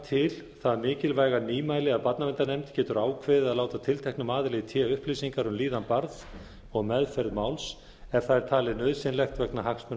til það mikilvæga nýmæli að barnaverndarnefnd getur ákveðið að láta tilteknum aðila í té upplýsingar um líðan barns og meðferð máls ef það er talið nauðsynlegt vegna hagsmuna